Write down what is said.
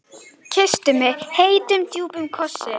Kyssti mig heitum, djúpum kossi.